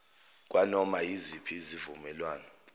kwanoma yiziphi izivumelwano